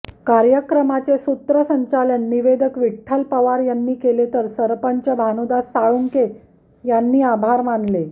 कार्यक्रमाचे सूत्रसंचालन निवेदक विठ्ठल पवार यांनी केले तर सरपंच भानुदास साळुंके यांनी आभार मानले